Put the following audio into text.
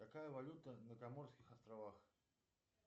какая валюта на гоморских островах